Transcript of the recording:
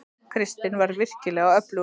Kristinn var virkilega öflugur.